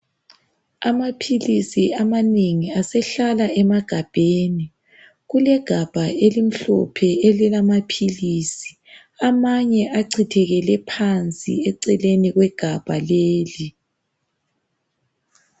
Amaphilisi amanengi asehlala emagabheni, kulegabha elimhlophe elilamaphilisi. Amanye achithekele phansi eceleni kwegabha leli.